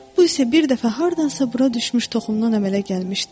Bu isə bir dəfə hardansa bura düşmüş toxumdan əmələ gəlmişdi.